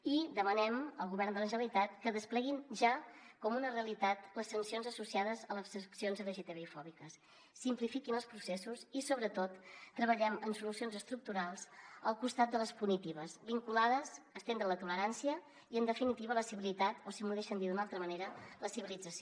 i demanem al govern de la generalitat que despleguin ja com una realitat les sancions associades a les accions lgtbi fòbiques simplifiquin els processos i sobretot treballem en solucions estructurals al costat de les punitives vinculades a estendre la tolerància i en definitiva la civilitat o si m’ho deixen dir d’una altra manera la civilització